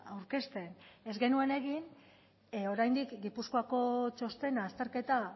aurkezten ez genuen egin oraindik gipuzkoako txostena azterketa